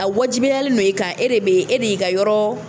A wajibiyalen don i kan e de bɛ e de y'i ka yɔrɔ